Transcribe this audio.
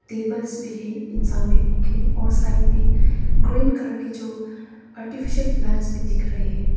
Tables भी हैं इंसान बैठने के लिए और साइड में ग्रीन कलर के जो आर्टिफिशियल प्लांट्स भी दिख रहे हैं।